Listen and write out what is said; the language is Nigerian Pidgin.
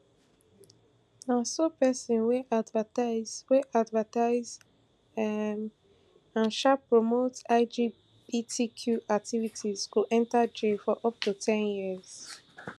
na so pesin wey advertise wey advertise um and um promote lgbtq activities go enta jail for up to ten years